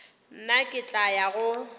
nna ke tla ya go